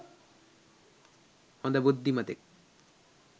හොඳ බුද්ධිමතෙක්